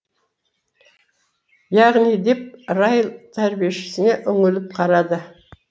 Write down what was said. яғни деп райл тәрбиешісіне үңіліп қарады